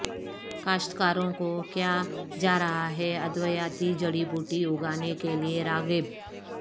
کاشت کاروں کو کیاجارہاہے ادویاتی جڑ ی بوٹی اگانے کے لیے راغب